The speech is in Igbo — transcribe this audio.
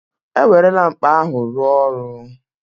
E werela mkpa ahụ rụọ ọrụ